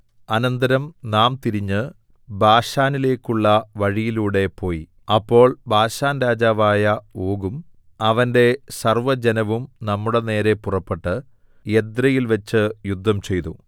അനന്തരം നാം തിരിഞ്ഞ് ബാശാനിലേക്കുള്ള വഴിയിലൂടെ പോയി അപ്പോൾ ബാശാൻരാജാവായ ഓഗും അവന്റെ സർവ്വജനവും നമ്മുടെനേരെ പുറപ്പെട്ട് എദ്രെയിൽവെച്ച് യുദ്ധംചെയ്തു